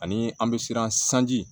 Ani an bɛ siran sanji